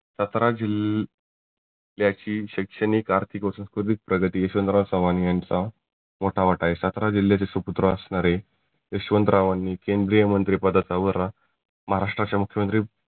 सातारा जिल्ह्या ज्याची शैक्षणीक अर्थीक व संस्कृतीक प्रगती यशवंतराव चव्हान यांचा मोठा वाटा आहे सातारा जिल्ह्याचे सुपुत्र असणारे यशवंतरावांनी केंद्रीय मंत्रीपदाचा वरा महाराष्ट्राचे मुख्यमंत्री